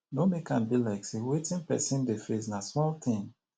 no make am be like sey wetin person dey face na small thing